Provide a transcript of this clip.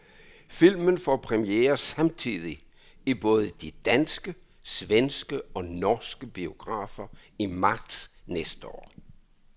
Filmen får premiere samtidig i både de danske, svenske og norske biografer i marts næste år.